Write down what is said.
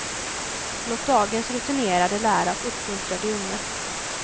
Låt dagens rutinerade lära och uppmuntra de unga.